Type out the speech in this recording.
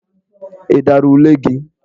Ị dara ule gi?